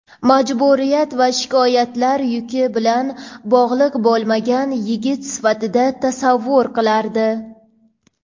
majburiyat va shikoyatlar yuki bilan bog‘liq bo‘lmagan yigit sifatida tasavvur qilardi.